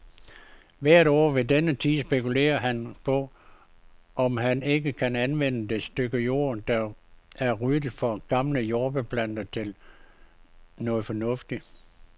Hvert år ved denne tid spekulerer han på, om han ikke kan anvende det stykke jord, der er ryddet for gamle jordbærplanter, til noget fornuftigt.